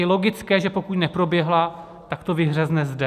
Je logické, že pokud neproběhla, tak to vyhřezne zde.